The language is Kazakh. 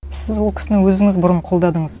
сіз ол кісіні өзіңіз бұрын қолдадыңыз